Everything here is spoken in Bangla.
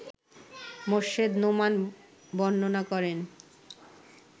মোর্শেদ নোমান বর্ণনা করেন